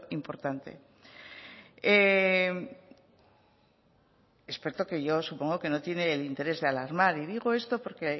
importante experto que yo supongo que no tiene el interés de alarmar y digo esto porque